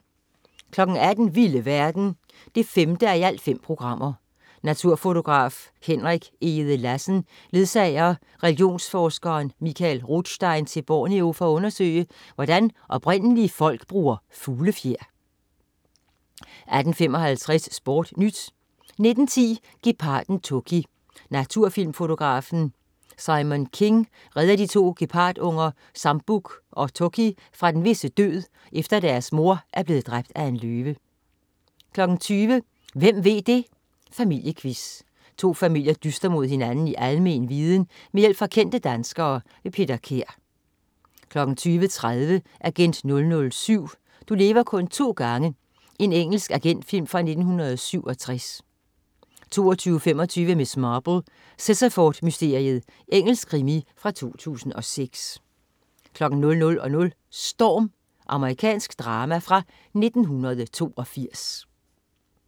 18.00 Vilde verden 5:5. Naturfotograf Henrik Egede-Lassen ledsager religionsforskeren Mikael Rotstein til Borneo for at undersøge, hvordan oprindelige folk bruger fuglefjer 18.55 SportNyt 19.10 Geparden Toki. Naturfilmfotografen Simon King redder de to gepardunger Sambuk og Toki fra den visse død, efter at deres mor er blevet dræbt af en løve 20.00 Hvem ved det! Familiequiz. To familier dyster mod hinanden i almen viden med hjælp fra kendte danskere. Peter Kær 20.30 Agent 007. Du lever kun to gange. Engelsk agentfilm fra 1967 22.25 Miss Marple: Sittaford mysteriet. Engelsk krimi fra 2006 00.00 Storm. Amerikansk drama fra 1982